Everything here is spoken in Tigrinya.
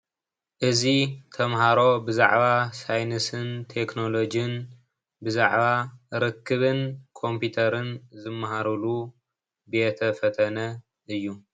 እዚ ተምሃሮ ብዛዕባ ሳይንስን ቴክኖሎጅን ብዛዕባ ርክብን ኮምፒተርን ዝማሃሩሉ ቤተ ፈተነ እዩ፡፡